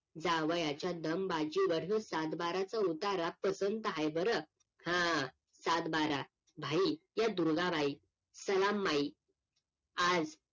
जावयाच्या दमबाजी वरून सातबाऱ्याचा उतारा पसंत आहे बरं हा सातबारा भाई या दुर्गाबाई सलाम माई आज